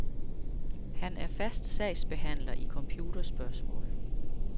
Han er fast sagsbehandler i computerspørgsmål.